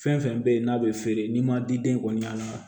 Fɛn fɛn bɛ yen n'a bɛ feere n'i ma diden kɔni an